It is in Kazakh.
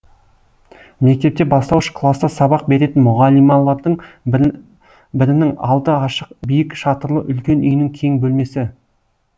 мектепте бастауыш класта сабақ беретін мұғалималардың бірінің алды ашық биік шатырлы үлкен үйінің кең бөлмесі